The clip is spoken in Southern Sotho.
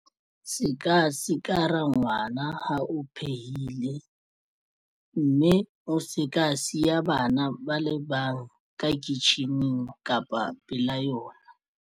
Se ka sikara ngwana ha o phehile mme o se ka siya bana ba le bang ka kitjhining kapa pela yona.